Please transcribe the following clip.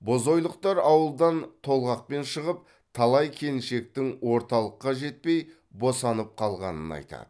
бозойлықтар ауылдан толғақпен шығып талай келіншектің орталыққа жетпей босанып қалғанын айтады